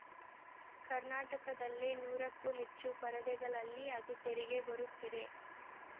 ಕರ್ನಾಟಕದಲ್ಲೇ ನೂರಕ್ಕೂ ಹೆಚ್ಚು ಪರದೆಗಳಲ್ಲಿ ಅದು ತೆರೆಗೆ ಬರುತ್ತಿದೆ